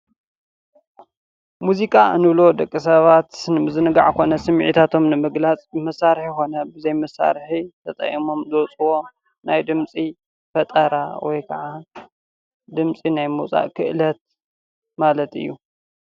ሙዚቃ እንብሎ ደቂ ሰባት ንምዝንጋዕ ኮነ ስሚዒታቶም ንምግላፅ ብመሳሪሒ ኾነ ብዘይ መሳሪሒ ተጠቂሞም ዘውፅእዎ ናይ ድምፂ ፈጠራ ወይ ከዓ ድምፂ ናይ ምውፃእ ክእለት ማለት እዩ።